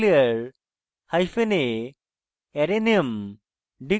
declare hyphen a arrayname